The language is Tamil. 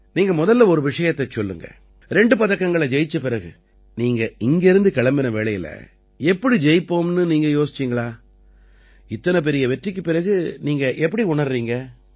நீங்க முதல்ல ஒரு விஷயத்தைச் சொல்லுங்க 2 பதக்கங்களை ஜெயிச்ச பிறகு நீங்க இங்கிருந்து போன வேளையில இப்படி ஜெயிப்போம்னு நீங்க யோசிச்சீங்களா இத்தனை பெரிய வெற்றிக்குப் பிறகு நீங்க எப்படி உணர்றீங்க